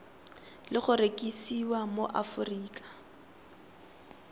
le go rekisiwa mo aforika